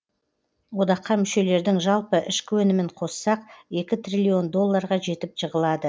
одаққа мүшелердің жалпы ішкі өнімін қоссақ екі триллион долларға жетіп жығылады